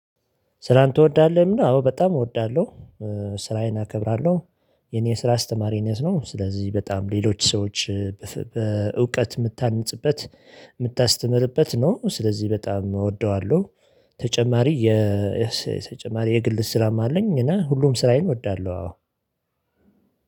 ስራን ትወዳለህ? ሚለው አዎ በጣም እወዳለሁ። ስራዬን አከብራለሁ የኔ ስራ አስተማሪነት ነው። ስለዚህ በጣም ሌሎች ሰዎች በእውቀት የምታንጽበት የምታስተምርበት ነው ስለዚህ በጣም እወደዋለሁ። ተጨማሪ የተጨማሪ የግል ስራም አለኝ እና ሁሉም ስራዬን እወዳለሁ። አዎ